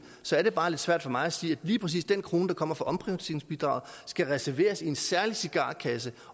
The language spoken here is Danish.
så er det bare lidt svært for mig at sige at lige præcis den krone der kommer fra omprioriteringsbidraget skal reserveres i en særlig cigarkasse